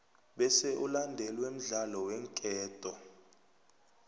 bese ulandelwe mdlalo weenketo